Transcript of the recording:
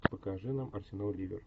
покажи нам арсенал ливер